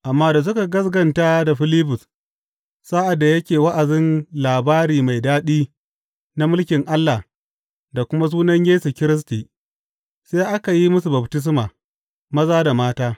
Amma da suka gaskata da Filibus sa’ad da yake wa’azin labari mai daɗi na mulkin Allah da kuma sunan Yesu Kiristi, sai aka yi musu baftisma, maza da mata.